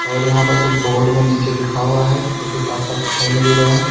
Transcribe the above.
और यहां पर कुछ बोर्ड में नीचे लिखा हुआ है जोकि साफ साफ दिखाई नहीं दे रहा है।